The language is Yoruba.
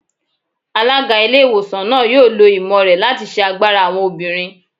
Alága ilé ìwòsàn náà yóò lò ìmọ̀ rẹ̀ láti ṣe agbára àwọn obìnrin